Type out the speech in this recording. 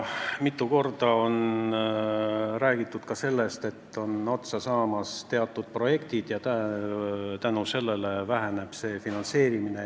Mitu korda on räägitud ka sellest, et teatud projektid on otsa saamas, mille tõttu see finantseerimine väheneb.